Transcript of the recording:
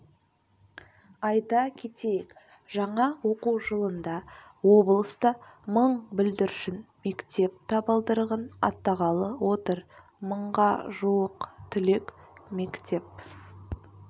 айта кетейік жаңа оқу жылында облыста мың бүлдіршін мектеп табалдырығын аттағалы отыр мыңға жуық түлек мектеп